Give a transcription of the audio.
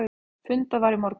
Fundað var í morgun.